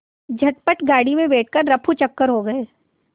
झटपट गाड़ी में बैठ कर ऱफूचक्कर हो गए